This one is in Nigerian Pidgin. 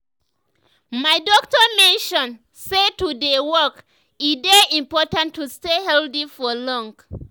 my doctor mention say to dey walk e dey important to stay healthy for long.